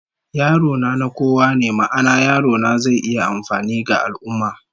Yaro na, na kowa ne, ma'ana, yarona zai iya amfani ga al'ummah